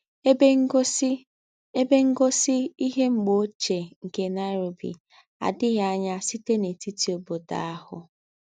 Èbè Ńgósí Èbè Ńgósí Íhé M̀gbè Óchíè nké Nairobi àdì̀ghí ànyá sítè n’ètítì óbódò àhù.